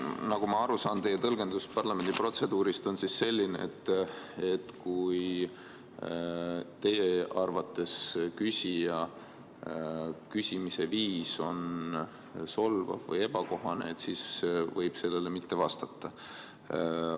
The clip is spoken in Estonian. Nagu ma aru saan, teie tõlgendus parlamendiprotseduurist on siis selline, et kui teie arvates küsija küsimise viis on solvav või ebakohane, siis võib sellele küsimusele mitte vastata.